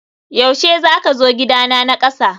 yaushe zaka zo gidana na kasa?